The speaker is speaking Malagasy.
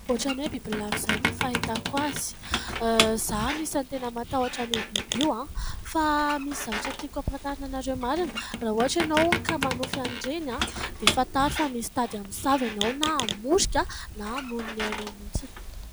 Ohatra ny hoe bibilava izany ny fahitako azy, izaho anisan'ny tena matahotra an'io bibi io. Fa misy zavatra tiako ampafantarina anareo marina, raha ohatra ianao ka manofy an'ireny, dia fantaro fa misy tady hamosavy ianao, na hamorika, na hamono ny ainao mihitsiny.